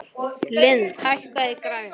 Lindi, hækkaðu í græjunum.